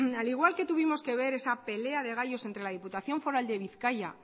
al igual que tuvimos que ver esa pelea de gallos entre la diputación foral de bizkaia